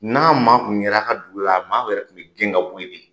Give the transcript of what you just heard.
N'a maa kun yera a ka dugu la, a maaw yɛrɛ kun bɛ gɛn ka bɔyi de.